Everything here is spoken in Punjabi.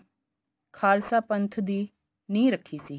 ਖਾਲਸਾ ਪੰਥ ਦੀ ਨਿਹ ਰੱਖੀ ਸੀ